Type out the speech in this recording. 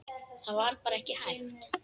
Það var bara ekki hægt.